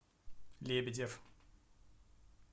лебедев